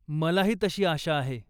मलाही तशी आशा आहे.